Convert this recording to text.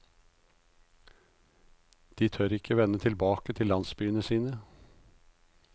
De tør ikke vende tilbake til landsbyene sine.